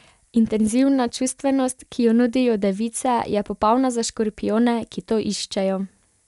Intenzivna čustvenost, ki jo nudijo device, je popolna za škorpijone, ki to iščejo.